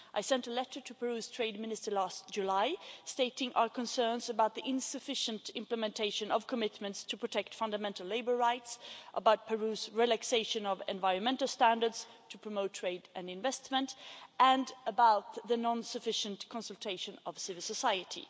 I sent a letter to Peru's Trade Minister last July stating our concerns about the insufficient implementation of commitments to protect fundamental labour rights, about Peru's relaxation of environmental standards, to promote trade and investment, and about the non sufficient consultation of civil society.